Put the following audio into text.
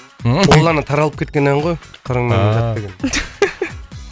ол ана таралып кеткен ән ғой қырыңменен жат деген